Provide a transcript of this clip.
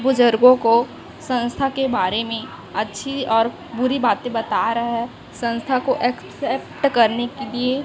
बुजुर्गों को संस्था के बारे में अच्छी और बुरी बातें बता रहा है संस्था को एक्सेप्ट करने के लिए--